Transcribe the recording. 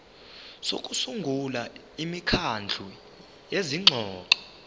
sokusungula imikhandlu yezingxoxo